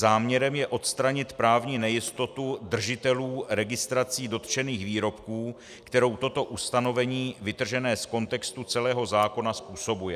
Záměrem je odstranit právní nejistotu držitelů registrací dotčených výrobků, kterou toto ustanovení vytržené z kontextu celého zákona způsobuje.